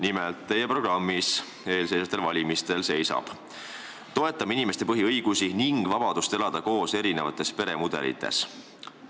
Nimelt, teie programmis eelseisvatel valimistel seisab: "Toetame inimeste põhiõigusi ning vabadust elada koos erinevates peremudelites.